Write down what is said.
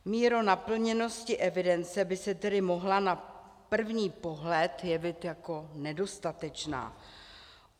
Míra naplněnosti evidence by se tedy mohla na první pohled jevit jako nedostatečná.